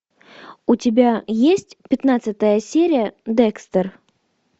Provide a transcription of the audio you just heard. у тебя есть пятнадцатая серия декстер